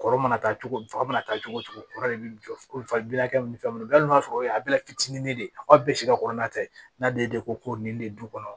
Kɔrɔ mana taa cogo di fa mana taa cogo cogo o de bɛ jɔ ko fabilakɛ ni fɛnw na hali n'a sɔrɔ o ye fitinin de ye aw ka bɛɛ si ka kɔrɔ na tɛ n'a de ko ko nin de du kɔnɔ